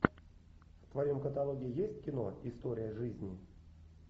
в твоем каталоге есть кино история жизни